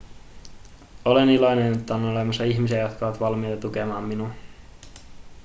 olen iloinen että on olemassa ihmisiä jotka ovat valmiita tukemaan minua